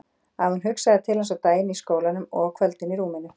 Að hún hugsaði til hans á daginn í skólanum og á kvöldin í rúminu.